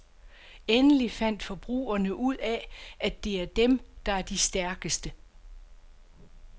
Endelig fandt forbrugerne ud af, at det er dem, der er de stærkeste.